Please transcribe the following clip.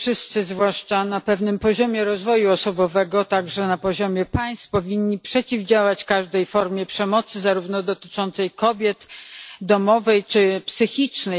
Wszyscy, zwłaszcza na pewnym poziomie rozwoju osobowego, także na poziomie państw, powinni przeciwdziałać każdej formie przemocy dotyczącej kobiet zarówno domowej, jak i psychicznej.